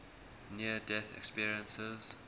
near death experiences